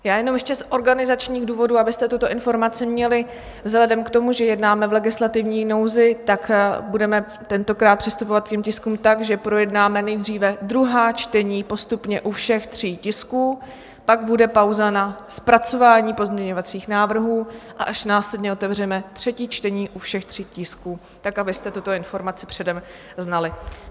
Já jenom ještě z organizačních důvodů, abyste tuto informaci měli, vzhledem k tomu, že jednáme v legislativní nouzi, tak budeme tentokrát přistupovat k těm tiskům tak, že projednáme nejdříve druhá čtení postupně u všech tří tisků, pak bude pauza na zpracování pozměňovacích návrhů a až následně otevřeme třetí čtení u všech tří tisků, tak abyste tuto informaci předem znali.